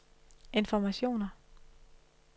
informationer